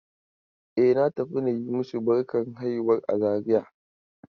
E, na tafi na yi masu barkan haihuwar a Zariya.